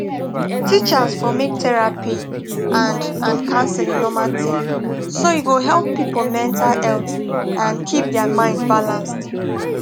teachers for make therapy and and counseling normal thing so e go help people mental health and keep their mind balanced